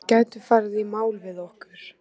Þeir gætu farið í mál við okkur.